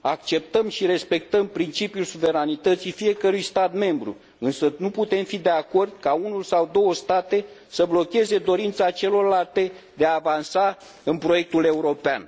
Acceptăm și respectăm principiul suveranității fiecărui stat membru, însă nu putem fi de acord ca unul sau două state să blocheze dorința celorlalte de a avansa în proiectul european.